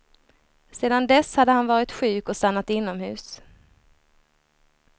Sedan dess hade han varit sjuk och stannat inomhus.